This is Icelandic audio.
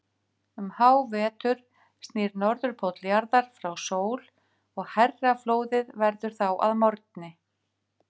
Um hávetur snýr Norðurpóll jarðar frá sól og hærra flóðið verður þá að morgni.